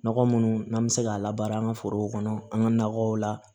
Nɔgɔ munnu n'an bɛ se k'a labaara an ka forow kɔnɔ an ka nakɔw la